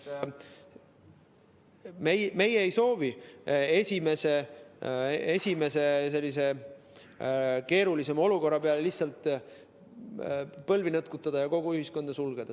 Me ei soovi esimese keerulisema olukorra peale lihtsalt põlvi nõtkutada ja kogu ühiskonda sulgeda.